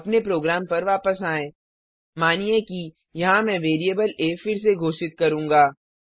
अपने प्रोग्राम पर वापस आएँ मानिए कि यहाँ मैं वेरिएबल आ फिर से घोषित करूंगा